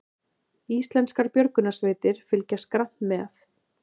Íslenskar björgunarsveitir fylgjast grannt með